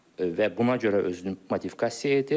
Və buna görə özünü modifikasiya edir.